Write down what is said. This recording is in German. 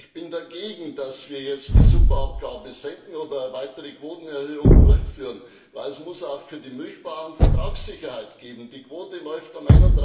Ich bin dagegen, dass wir jetzt die Superabgabe senken oder eine weitere Quotenerhöhung durchführen, denn es muss auch für die Milchbauern Vertragssicherheit geben. Die Quote läuft am